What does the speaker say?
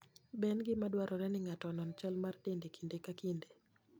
Be en gima dwarore ni ng'ato onon chal mar dende kinde ka kinde?